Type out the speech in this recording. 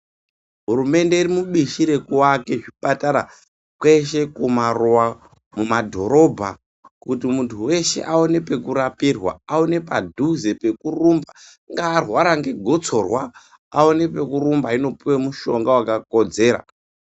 Hurunde iri mubishi rekuvaka zvipatara kweshe kumaruva mumadhorobha kuti muntu veshe aone pekurapirwa. Aone padhuze pekurumba ungaa arwara ngegotsorwa aone pekurumba einopuva mushonga vakakodzera.